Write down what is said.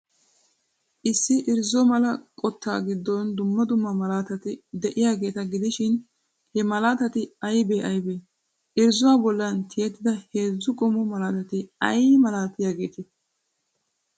Issi irzzo mala qottaa giddon dumma dumma malaatati de'iyaageeta gidishin, he malaatati aybee aybee? Irzzuwaa bollan tiyttida heezzu qommo merati ay malatiyaageetee?